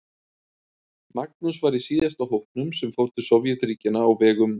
Magnús var í síðasta hópnum sem fór til Sovétríkjanna á vegum